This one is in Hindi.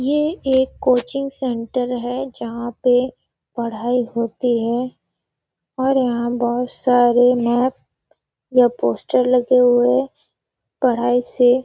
ये एक कोचिंग सेंटर है वहाँ पे पढ़ाई होती है और यहाँ बहोत सारे मॅप या पोस्टर लगे हुए हैं पढ़ाई से--